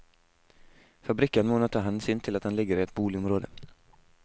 Fabrikken må nå ta hensyn til at den ligger i et boligområde.